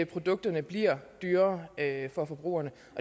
produkterne bliver dyrere for forbrugerne